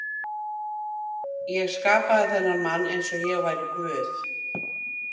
Ég skapaði þennan mann einsog ég væri guð.